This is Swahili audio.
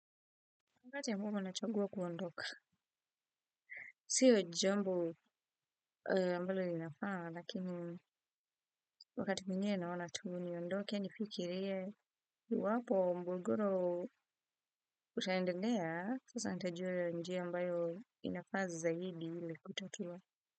Wakati ambapo nachagua kuondoka, sio jambu ambalo linafaa lakini wakati mwingine naona tu niondoke, nifikirie iwapo mgogoro utaendelea, sasa nitajua njia ambayo inafaa zaidi ili kuitatua.